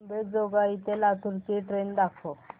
अंबेजोगाई ते लातूर ची ट्रेन दाखवा